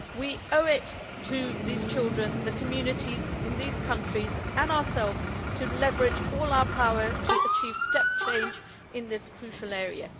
We owe it to these children, the communities in these countries and ourselves to leverage all our power to achieve step change in this crucial area.